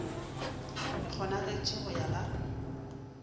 e kgonagatše go ya ga